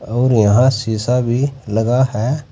और यहां शिशा भी लगा है।